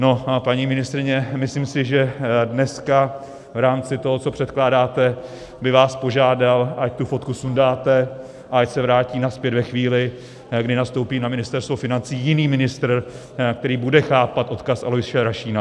No, paní ministryně, myslím si, že dneska v rámci toho, co předkládáte, by vás požádal, ať tu fotku sundáte a ať se vrátí nazpět ve chvíli, kdy nastoupí na Ministerstvo financí jiný ministr, který bude chápat odkaz Aloise Rašína.